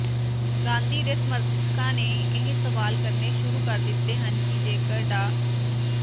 ਗਾਂਧੀ ਦੇ ਸਮਰਥਕਾਂ ਨੇ ਇਹ ਸਵਾਲ ਕਰਨੇ ਸ਼ੁਰੂ ਕਰ ਦਿੱਤੇ ਹਨ ਕਿ ਜੇਕਰ ਡਾ